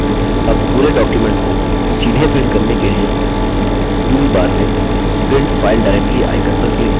अब पूरे document को सीधे print करने के लिए टूलबार में print file directly icon पर click करें